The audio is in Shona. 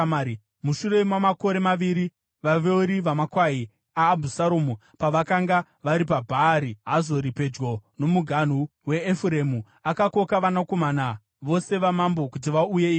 Mushure mamakore maviri; vaveuri vamakwai aAbhusaromu pavakanga vari paBhaari Hazori pedyo nomuganhu weEfuremu, akakoka vanakomana vose vamambo kuti vauye ikoko.